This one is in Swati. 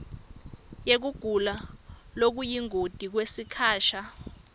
yekugula lokuyingoti kwesikhasha